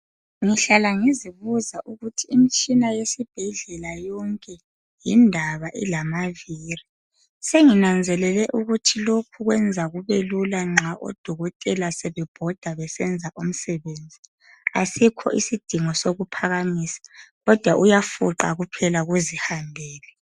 Ngihlala ngizibuza ukuthi imitshina yesibhedlela yonke yindaba ilamaviri senginanzelele lokhu ukuthi kwenza kubelula nxa odokotela sebe bhoda sebesenza umsebenzi asikho isidingo sokuphakamisa kodwa uyafuqa kuphela kuzihambele